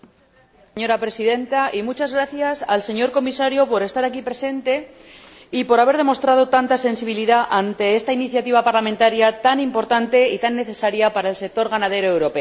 Señor Comisario, muchas gracias por estar aquí presente y por haber demostrado tanta sensibilidad ante esta iniciativa parlamentaria tan importante y tan necesaria para el sector ganadero europeo.